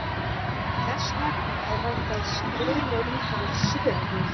Þess vegna er hægt að skrifa um það sögur.